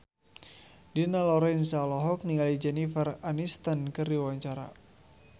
Dina Lorenza olohok ningali Jennifer Aniston keur diwawancara